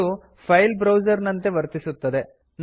ಇದು file browser ನಂತೆ ವರ್ತಿಸುತ್ತದೆ